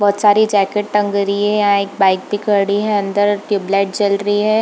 बहुत सारे जैकेट टांग रही हे या एक बाइक भी खड़ी है अंदर ट्यूबलाइट जल रही है।